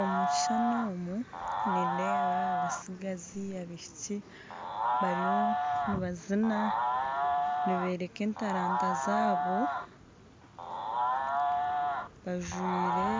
Omukishushani omu nindeeba abatsigazi , abaishiki bariyo nibazina niboreka entaranta zabo bajwaire